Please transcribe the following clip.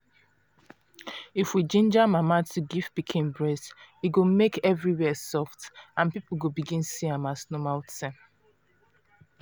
if we ginger mama to give pikin breast e go make everywhere soft and people go begin see am as normal tin.